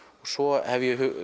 svo hef ég